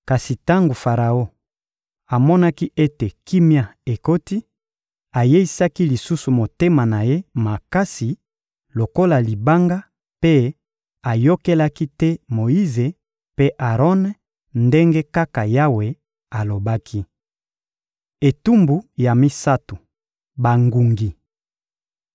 Kasi tango Faraon amonaki ete kimia ekoti, ayeisaki lisusu motema na ye makasi lokola libanga mpe ayokelaki te Moyize mpe Aron ndenge kaka Yawe alobaki. Etumbu ya misato: bangungi